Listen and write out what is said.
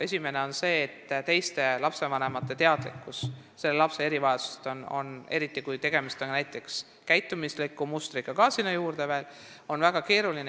Esimene on see, et teiste lapsevanemate teadlikkuse tõstmine lapse erivajadusest on väga keeruline, eriti kui tegemist on lisaks ka näiteks käitumusliku mustriga.